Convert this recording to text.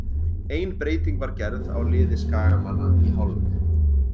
Ein breyting var gerð á liði skagamanna í hálfleik.